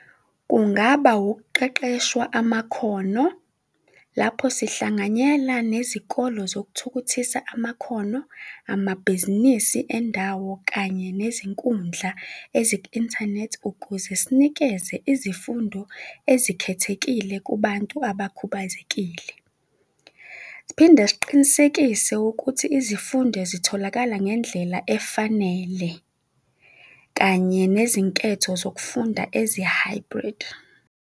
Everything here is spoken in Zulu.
Kungaba ukuqeqeshwa amakhono lapho sihlanganyela nezikolo zokuthukuthisa amakhono, amabhizinisi endawo kanye nezinkundla eziku-inthanethi ukuze sinikeze izifundo ezikhethekile kubantu abakhubazekile. Siphinde siqinisekise ukuthi izifundo zitholakala ngendlela efanele kanye nezinketho zokufunda ezi-hybrid.